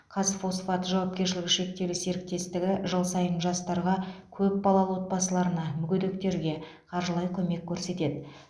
қазфосфат жауапкершілігі шектеулі серіктестігі жыл сайын жастарға көп балалы отбасыларына мүгедектерге қаржылай көмек көрсетеді